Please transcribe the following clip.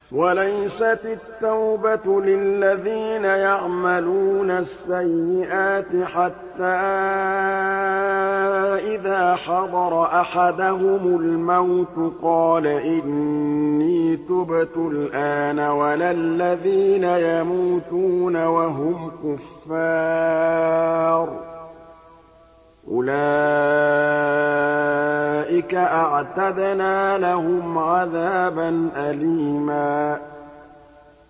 وَلَيْسَتِ التَّوْبَةُ لِلَّذِينَ يَعْمَلُونَ السَّيِّئَاتِ حَتَّىٰ إِذَا حَضَرَ أَحَدَهُمُ الْمَوْتُ قَالَ إِنِّي تُبْتُ الْآنَ وَلَا الَّذِينَ يَمُوتُونَ وَهُمْ كُفَّارٌ ۚ أُولَٰئِكَ أَعْتَدْنَا لَهُمْ عَذَابًا أَلِيمًا